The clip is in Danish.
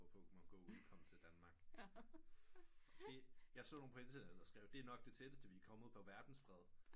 Hvor Pokemon go udkom til Danmark jeg så nogen på internettet der skrev det er nok det tætteste vi er kommet på verdens fred